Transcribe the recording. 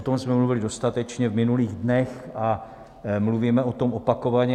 O tom jsme mluvili dostatečně v minulých dnech a mluvíme o tom opakovaně.